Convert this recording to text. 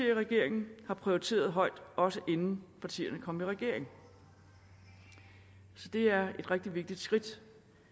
i regeringen har prioriteret højt også inden partierne kom i regering så det er et rigtig vigtigt skridt